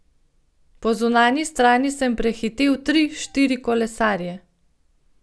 Po zunanji strani sem prehitel tri, štiri kolesarje.